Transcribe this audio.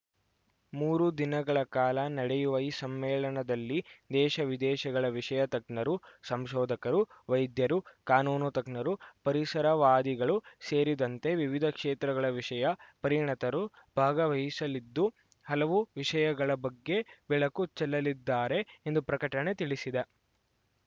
ಮೂರು ದಿನಗಳ ಕಾಲ ನಡೆಯುವ ಈ ಸಮ್ಮೇಳನದಲ್ಲಿ ದೇಶವಿದೇಶಗಳ ವಿಷಯ ತಜ್ಞರು ಸಂಶೋಧಕರು ವೈದ್ಯರು ಕಾನೂನು ತಜ್ಞರು ಪರಿಸರವಾದಿಗಳು ಸೇರಿದಂತೆ ವಿವಿಧ ಕ್ಷೇತ್ರಗಳ ವಿಷಯ ಪರಿಣತರು ಭಾಗವಹಿಸಲಿದ್ದು ಹಲವು ವಿಷಯಗಳ ಬಗ್ಗೆ ಬೆಳಕು ಚೆಲ್ಲಲ್ಲಿದ್ದಾರೆ ಎಂದು ಪ್ರಕಟಣೆ ತಿಳಿಸಿದ